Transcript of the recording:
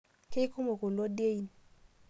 Keikumo kulo dein